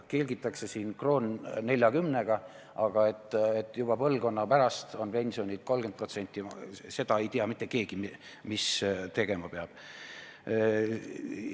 Kelgitakse siin 1 euro 40 sendiga, aga kui juba põlvkonna pärast on pensionid 30% väiksemad, siis ei tea mitte keegi, mis tegema peab.